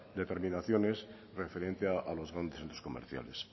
determinaciones referente a los grandes centroscomerciales